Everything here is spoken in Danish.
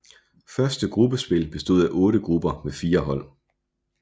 Første gruppespil bestod af otte grupper med fire hold